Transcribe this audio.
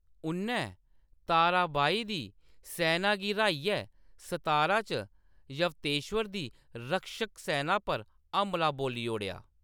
उʼन्नै ताराबाई दी सैना गी र्‌हाइयै सतारा च यवतेश्वर दी रक्षकसेना पर हमला बोल्ली ओड़ेआ।